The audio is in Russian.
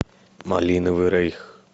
малиновый рейх